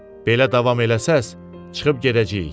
Belə davam eləsəz, çıxıb gedəcəyik.